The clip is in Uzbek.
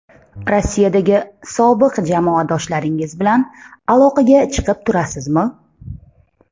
Rossiyadagi sobiq jamoadoshlaringiz bilan aloqaga chiqib turasizmi?